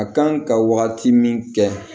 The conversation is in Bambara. A kan ka waati min kɛ